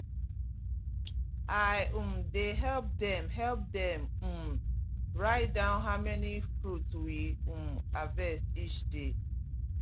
i um dey help dem help dem um write down how many fruit we um harvest each day